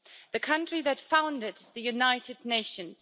the country that founded the United Nations.